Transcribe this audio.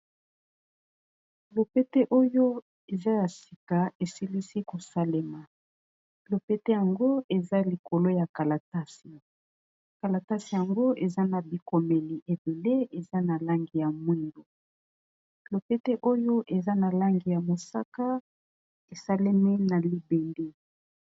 Lopete oyo eza ya sika esilisi kosalema lopete yango eza likolo ya kalatasi, kalatasi yango eza na bikomeli ebele eza na langi ya mwindu lopete oyo eza na langi ya mosaka esalemi na libende.